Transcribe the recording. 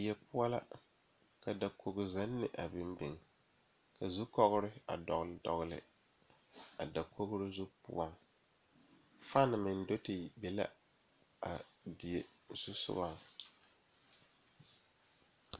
Pɔgeba are ka bamine zeŋ ka gangaare biŋ kaŋa zaa toɔ puli kyɛ ka ba zage ba nuure kaa do saa kyɛ ka ba gbɛɛ meŋ gaa.